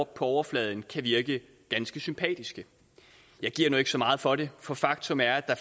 på overfladen kan virke ganske sympatiske jeg giver nu ikke så meget for det for faktum er at